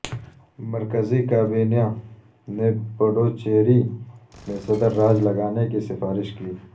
مرکزی کابینہ نے پڈوچیری میں صدر راج لگانے کی سفارش کی